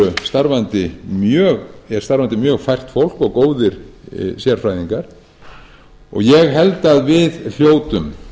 hjá ríkisskattstjóra er starfandi mjög fært fólk og góðir sérfræðingar og ég held að við hljótum